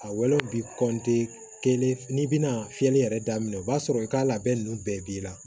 A wolo bi kɔntiniye kelen n'i bɛna fiyɛli yɛrɛ daminɛ o b'a sɔrɔ i ka labɛn ninnu bɛɛ b'i la